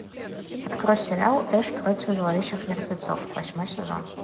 открой сериал эш против зловещих мертвецов восьмой сезон